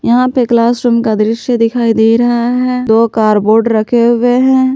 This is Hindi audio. यहां पे क्लास रूम का दृश्य दिखाई दे रहा है दो कारबोर्ड रखे हुए हैं।